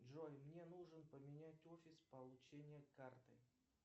джой мне нужно поменять офис получения карты